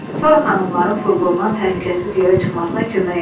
Sonra xanımların furqondan təhlükəsiz yerə çıxmasına kömək etdi.